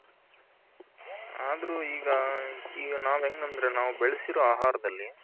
ಅದ್ರು ಈಗ ಈಗ ನಾವ್ ಎಂಗ್ ಅಂದ್ರೆ ನಾವು ಬೆಳಸಿರೋ ಆಹಾರದಲ್ಲಿ